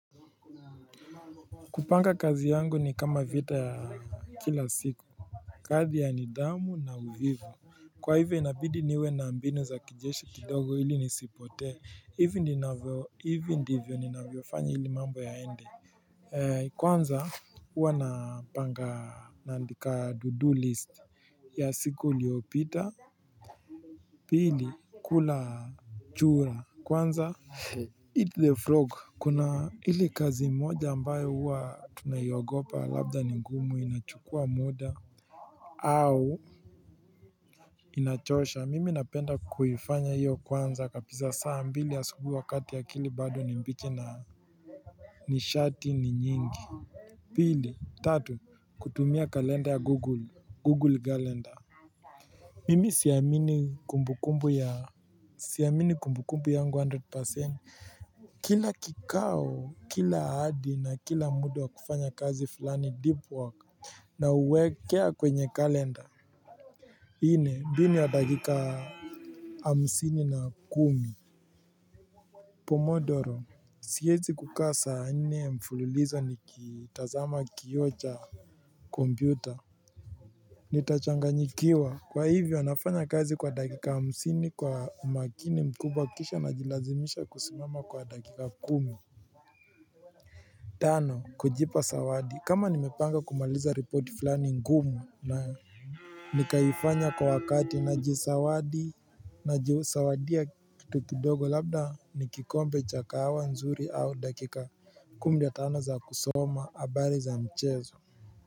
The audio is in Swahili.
Kupanga kazi yangu ni kama vita ya kila siku kati ya nidhamu na uvivu Kwa hivyo inabidi niwe na mbinu za kijeshi kidogo hili nisipotee hivi ninavyo hivi ndivyo ninavyofanya hili mambo yaende Kwanza huwa napanga nandika to do list ya siku uliopita pili kula chura kwanza eat the frog kuna ili kazi moja ambayo huwa tunaiogopa labda ni ngumu inachukua muda au inachosha mimi napenda kuhifanya hiyo kwanza kabisa saa mbili ya asubuhi wakati akili bado ni mbichi na nishati ni nyingi pili tatu kutumia kalenda ya google google kalenda Mimi siamini kumbu kumbu ya siamini kumbu kumbu yangu 100% Kila kikao kila ahadi na kila muda wa kufanya kazi fulani deep work na uwekea kwenye kalenda nne bini wa dakika hamsini na kumi Pomodoro siwezi kukaa saa nne mfululizo nikitazama kioo cha kompyuta Nitachanganyikiwa kwa hivyo wanafanya kazi kwa dakika hamsini kwa umakini mkubwa kisha ninajilazimisha kusimama wa dakika kumi Tano kujipa zawadi kama nimepanga kumaliza repoti fulani ngumu na Nikaifanya kwa wakati najizawadi najizawadia kitu kidogo labda ni kikombe cha kahawa nzuri au dakika kumi na tano za kusoma habari za mchezo.